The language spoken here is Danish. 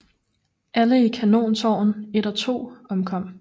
Alle i kanontårn 1 og 2 omkom